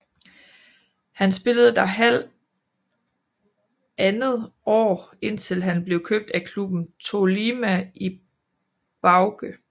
Han spillede der halv andet år indtil han blev købt af klubben Tolima Ibagué